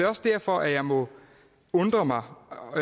også derfor at jeg må undre mig og